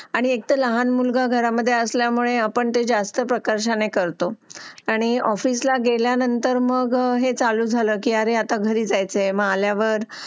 अनी एकतार लहन मुल्गा घरत असल्या मुले अपान जस्त प्रकाशन करतो अनी ऑफिस ला गेलिया नेंटर मैग वह चालु जल आरी अता घरी जयचाय मग अलयावर